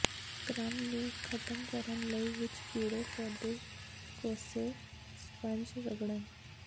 ਕ੍ਰਮ ਨੂੰ ਖ਼ਤਮ ਕਰਨ ਲਈ ਵਿੱਚ ਕੀੜੇ ਪੌਦਾ ਕੋਸੇ ਸਪੰਜ ਰਗੜਨ